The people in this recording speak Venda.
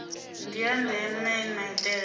ndi ya ndeme maitele